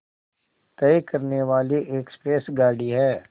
तय करने वाली एक्सप्रेस गाड़ी है